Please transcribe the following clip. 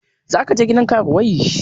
Za ka je gidan karuwai?